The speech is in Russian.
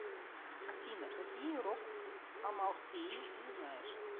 афина какие рог амалфеи ты знаешь